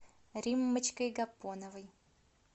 риммочкой гапоновой